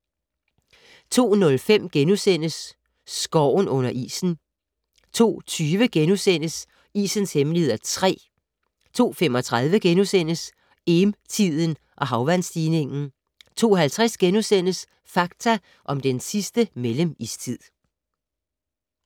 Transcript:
02:05: Skoven under isen * 02:20: Isens hemmeligheder (3) * 02:35: Eem-tiden og havvandsstigning * 02:50: Fakta om den sidste mellemistid *